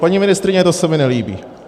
Paní ministryně, to se mi nelíbí.